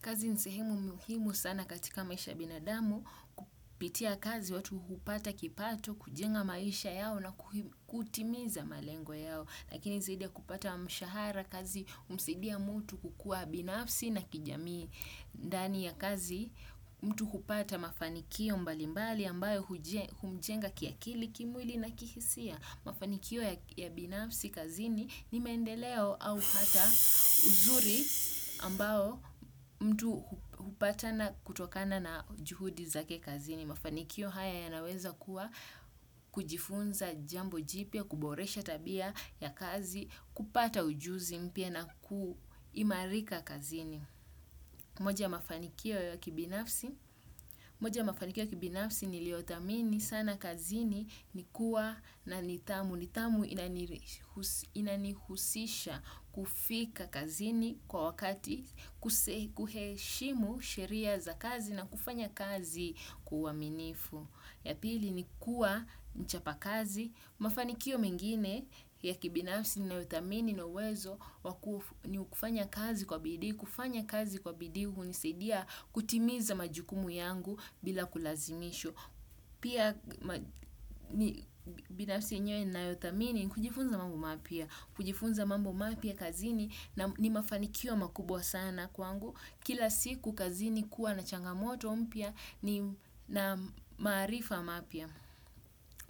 Kazi nsehimu muhimu sana katika maisha binadamu, kupitia kazi watu hupata kipato, kujenga maisha yao na kutimiza malengo yao. Lakini zaidi ya kupata mshahara kazi humsaidia mtu kukuwa binafsi na kijamii ndani ya kazi mtu hupata mafanikio mbalimbali ambayo humjenga kiakili kimwili na kihisia. Mafanikio ya binafsi kazini ni mendeleo au hata uzuri ambao mtu upatana kutokana na juhudi za ke kazini. Mafanikio haya ya naweza kuwa kujifunza jambo jipia, kuboresha tabia ya kazi, kupata ujuzi mpia na kuimarika kazini. Moja mafanikio ya kibinafsi niliotamini sana kazini ni kuwa na nitamu. Nitamu inanihusisha kufika kazini kwa wakati kuheshimu sheria za kazi na kufanya kazi kuwa minifu. Ya pili ni kuwa, mchapa kazi, mafanikio mengine ya kibinafsi ni nayotamini na uwezo ni kufanya kazi kwa bidi, kufanya kazi kwa bidi hunisedia kutimiza majukumu yangu bila kulazimisho. Pia binafsi yenyewe na yotamini kujifunza mambo mapia. Kujifunza mambo mapia kazini ni mafanikio makubwa sana kwangu. Kila siku kazini kuwa na changamoto mpia na maarifa mapia.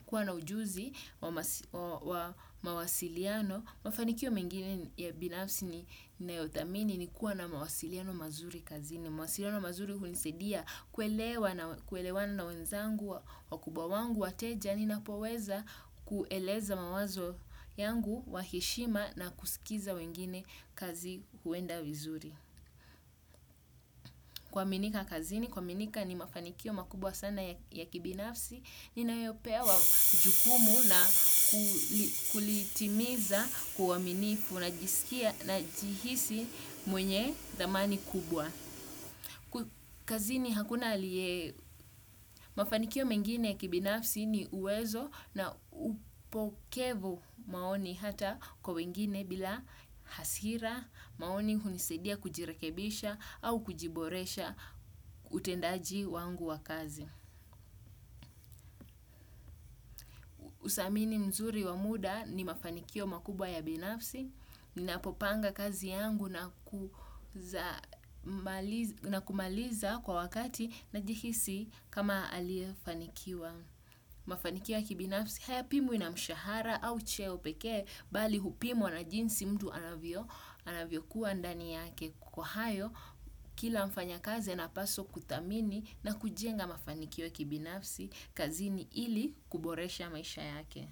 Kuwa na ujuzi wa mawasiliano. Mafanikio mengine ya binafsi ni na yotamini ni kuwa na mawasiliano mazuri kazini. Mwasiriano mazuri hunisedia kuelewa na wenzangu wa kubwa wangu wa teja. Ninapoweza kueleza mawazo yangu wa heshima na kusikiza wengine kazi huenda wizuri. Kwa minika kazini, kwa minika ni mafanikio makubwa sana ya kibinafsi. Ninayopewa jukumu na kulitimiza kuwaminifu na jihisi mwenye damani kubwa. Kwa kazi ni hakuna aliye mafanikio mengine kibinafsi ni uwezo na upokevu maoni hata kwa wengine bila hasira maoni hunisedia kujirekebisha au kujiboresha utendaji wangu wa kazi. Usamini mzuri wamuda ni mafanikio makubwa ya binafsi, nina popanga kazi yangu na kumaliza kwa wakati na jihisi kama aliefanikiwa. Mafanikiwo ya kibinafsi haya pimwi na mshahara au cheo peke bali hupimwa na jinsi mdu anavyo anavyo kuwa ndani yake kwa hayo kila mfanya kazi anapaswa kutamini na kujenga mafanikiwo ya kibinafsi kazini ili kuboresha maisha yake.